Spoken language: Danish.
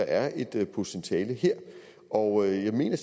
er et potentiale her og jeg mener